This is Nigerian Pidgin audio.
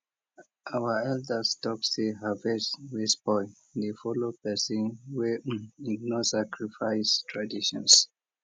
our elders talk say harvest wey spoil dey follow person wey ignore sacrifice traditions